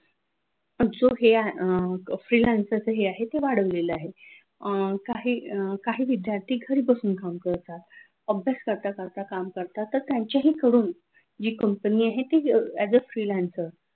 so हे आहे freelancer च हे आहे ते वाढवलेल आहे अह काही अह काही विद्यार्थी घरी बसून काम करतात अभ्यास करता करता काम करतात तर त्यांचेही कडून जी company आहे ती as a freelancer